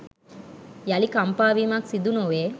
යළි කම්පා වීමක් සිදුනොවේ.